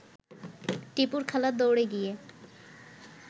টিপুর খালা দৌড়ে গিয়ে